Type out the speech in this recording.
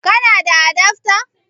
Kana da adafta?